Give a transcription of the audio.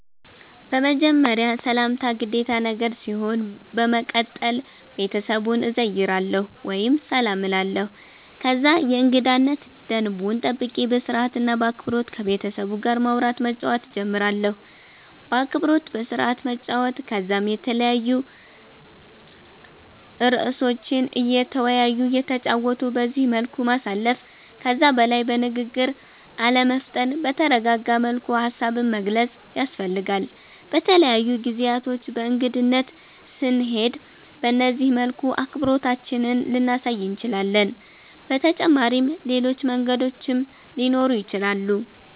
በመጀመርያ ሰላምታ ግዴታ ነገር ሲሆን በመቀተል ቤተሰቡን እዘይራለሁ ወይም ሰላም እላለሁ ከዛ የእንገዳነት ደንቡን ጠብቄ በስርአት እና በአክበሮት ከቤተሰቡ ጋር ማዉራት መጫወት ጀምራለሁ። በአክብሮት በስርአት መጨዋወት ከዛም የተለያዩ እርእሶችን እየተወያዩ እየተጨዋወቱ በዚህ መልኩ ማሳለፍ። ከዛ በላይ በንግግር አለመፍጠን በተረጋጋ መልኩ ሃሳብን መግለፅ ያስፈልጋል። በተለያዩ ጊዜያቶች በእንግድነት ስንሄድ በነዚህ መልኩ አክብሮታችንን ልናሳይ እንችላለን። በተጫመሪም ሌሎች መንገዶችም ሊኖሩ ይችላሉ